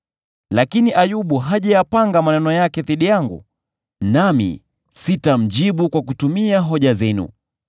Lakini Ayubu hajayapanga maneno yake dhidi yangu, nami sitamjibu kwa kutumia hoja zenu.